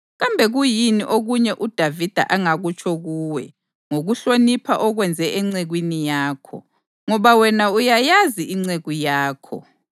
Kambe kuyini okunye uDavida angakutsho kuwe ngokuhlonipha okwenze encekwini yakho? Ngoba wena uyayazi inceku yakho,